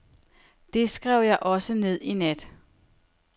Det skrev jeg også ned i nat.